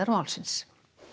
málsins